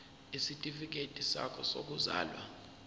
isitifikedi sakho sokuzalwa